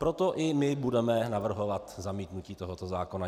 Proto i my budeme navrhovat zamítnutí tohoto zákona.